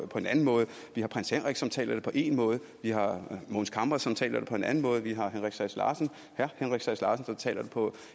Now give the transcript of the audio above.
på en anden måde vi har prins henrik som taler det på én måde vi har mogens camre som taler det på en anden måde og vi har henrik sass larsen som taler det på